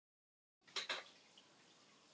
Ég á erfiðara með að finna leikkonu í hlutverk mömmu.